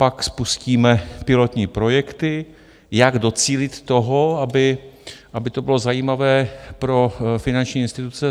Pak spustíme pilotní projekty, jak docílit toho, aby to bylo zajímavé pro finanční instituce.